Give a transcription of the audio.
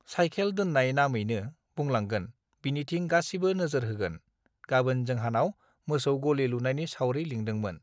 सायखेल दोन्नाय नामैनो बुंलांगोन बिनिथिं गसिबो नोजोर होगोन गाबोन जोंहानाव मोसौ गलि लुनायनि सावरि लिंदोंमोन